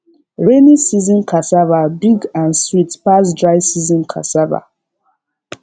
rainy season cassava big and sweet pass dry season cassava